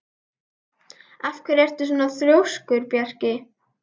Af hverju ertu svona þrjóskur, Bjarki?